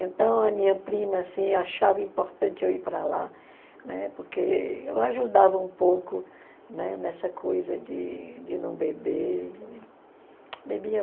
Então a minha prima assim achava importante eu ir para lá, né, porque eu ajudava um pouco, né, nessa coisa de de não beber. Bebia